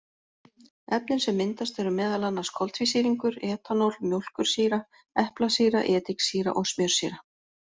Efnin sem myndast eru meðal annars koltvísýringur, etanól, mjólkursýra, eplasýra, ediksýra og smjörsýra.